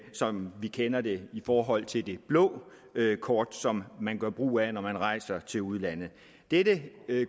som vi kender det i forhold til det blå kort som man gør brug af når man rejser til udlandet dette